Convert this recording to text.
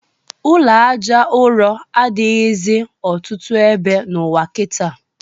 Ụlọ Àjà ụrọ adịghịzị ọtụtụ ebe n'ụwa kịta